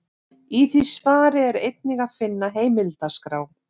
Í því svari er einnig að finna heimildaskrá.